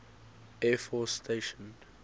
air force station